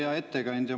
Hea ettekandja!